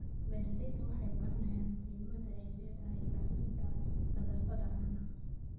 Beeraleydu waxay baranayaan muhimadda ay leedahay ilaalinta nadaafadda caanaha.